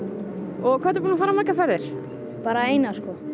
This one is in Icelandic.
og hvað ertu búinn að fara margar ferðir bara eina sko